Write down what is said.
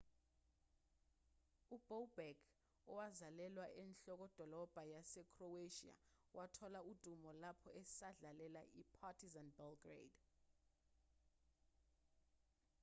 ubobek owazalelwa enhlokodolobha yasekhroweshiya wathola udumo lapho esadlalela i-partizan belgrade